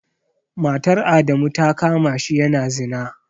Matar Adamu ta kama shi yana zina.